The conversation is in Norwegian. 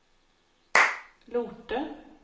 Lote